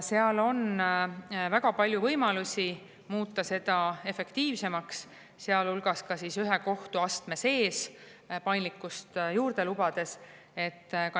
Seal on väga palju võimalusi muuta seda efektiivsemaks, sealhulgas ka ühe kohtuastme sees paindlikkust juurde lubades.